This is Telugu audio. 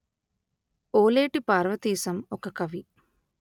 ఓలేటి పార్వతీశం ఒక కవి